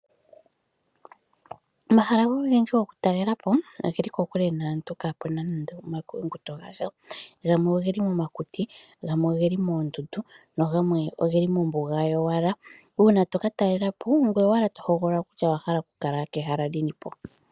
Omahala ogendji gokutalela po oge li kokule naantu kaapu na nando omakuyunguto gasha. Gamwe oge li momakuti, gamwe oge li moondundu nagamwe oge li mombuga yowala. Uuna to ka talela po ongoye owala to hogolola kutya owa hala okukala kehala lini po.